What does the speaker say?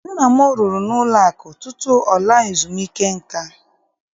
Nna m rụrụ n'ụlọakụ tutu ọ laa ezumuike nka